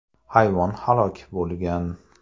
Hayvon halok bo‘lgan.